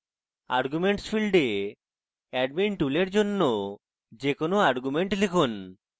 arguments ফীল্ডে admin tool এর জন্য যে কোনো arguments লিখুন